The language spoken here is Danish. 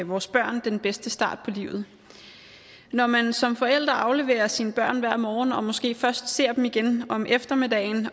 vores børn den bedste start på livet når man som forælder afleverer sine børn hver morgen og måske først ser dem igen om eftermiddagen